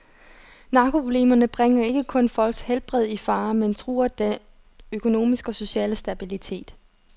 Narkoproblemerne bringer ikke kun folks helbred i fare, men truer den økonomiske og sociale stabilitet.